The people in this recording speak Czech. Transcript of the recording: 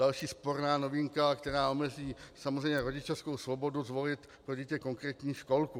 Další sporná novinka, která omezí samozřejmě rodičovskou svobodu zvolit pro dítě konkrétní školku.